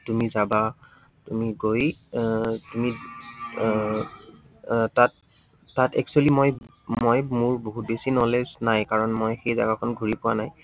তুমি যাবা, তুমি গৈ আহ তুমি আহ আহ তাত, তাত actually মই, মই মোৰ বহুত knowledge নাই। কাৰন মই সেই জাগাকণ ঘূৰি পোৱা নাই